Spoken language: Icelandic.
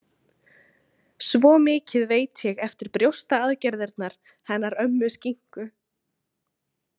Svo mikið veit ég eftir brjóstaaðgerðirnar hennar ömmu Skinku.